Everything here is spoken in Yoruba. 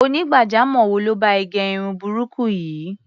Onígbàjamọ̀ wo ló bá ẹ gẹ irun burúkú yìí?